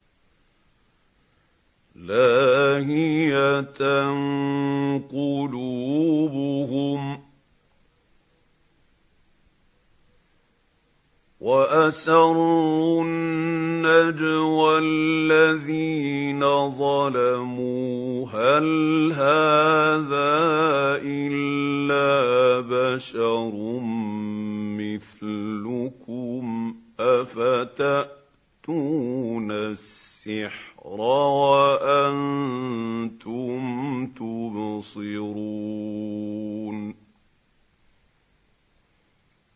لَاهِيَةً قُلُوبُهُمْ ۗ وَأَسَرُّوا النَّجْوَى الَّذِينَ ظَلَمُوا هَلْ هَٰذَا إِلَّا بَشَرٌ مِّثْلُكُمْ ۖ أَفَتَأْتُونَ السِّحْرَ وَأَنتُمْ تُبْصِرُونَ